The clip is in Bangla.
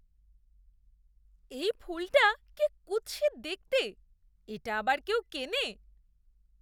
এই ফুলটা কি কুৎসিত দেখতে। এটা আবার কেউ কেনে?